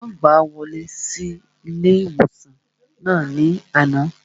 Wọ́n gbàá wọlé sí ilé-ìwòsàn náà ní àná